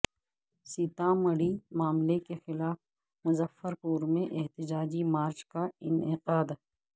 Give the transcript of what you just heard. سیتامڑھی معاملے کے خلاف مظفرپور میں احتجاجی مارچ کا انعقاد